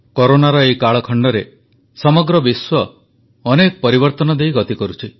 କରୋନାର ଏହି କାଳଖଣ୍ଡରେ ସମଗ୍ର ବିଶ୍ୱ ଅନେକ ପରିବର୍ତ୍ତନ ଦେଇ ଗତି କରୁଛି